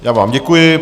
Já vám děkuji.